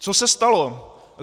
Co se stalo?